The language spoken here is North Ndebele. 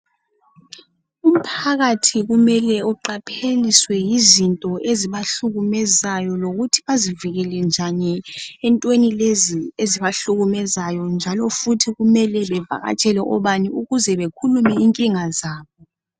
Umphakathi kumele uqaphele izinto ezibahlukumezayo lokuthi bazivikele ezintweni ezibahlukumezayo. Zikhona izindawo okumele bahambe kuzo ukuze bathole usizo